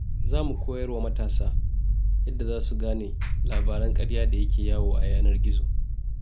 Za mu koyar wa matasa yadda za su gane labaran ƙarya da ke yawo a yanar gizo.